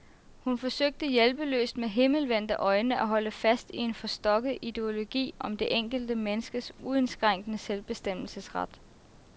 Hun forsøgte hjælpeløst, med himmelvendte øjne, at holde fast i en forstokket ideologi om det enkelte menneskes uindskrænkede selvbestemmelsesret.